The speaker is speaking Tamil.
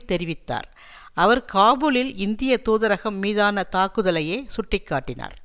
தெரிவித்தார் அவர் காபுலில் இந்திய தூதரகம் மீதான தாக்குதலையே சுட்டி காட்டினார்